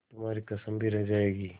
तुम्हारी कसम भी रह जाएगी